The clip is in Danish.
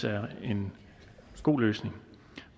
er en god løsning